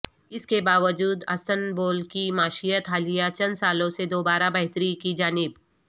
اس کے باوجود استنبول کی معیشت حالیہ چند سالوں سے دوبارہ بہتری کی جانب